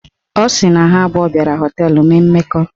Ọ sị na ha abụọ gara họteelụ mee mmekọ